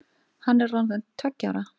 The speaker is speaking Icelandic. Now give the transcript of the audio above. Hann er orðinn tveggja ára.